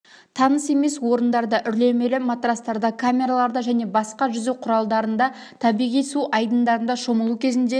таныс емес орындарда үрлемелі матрастарда камераларда және басқа жүзу құралдарында табиғи су айдындарында шомылу кезінде